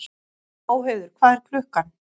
Móheiður, hvað er klukkan?